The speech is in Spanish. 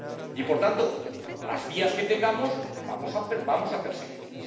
Y, por tanto, las vías que tengamos, vamos a perseguirlas.